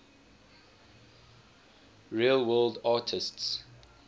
real world artists